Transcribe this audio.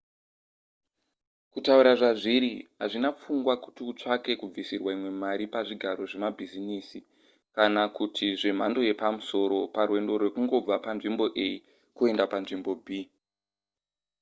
kutaura zvazviri hazvina pfungwa kuti utsvake kubvisirwa imwe mari pazvigaro zvevemabhizimisi kana kuti zvemhando yepamusoro parwendo rwekungobva panzvimbo a kuenda panzvimbo b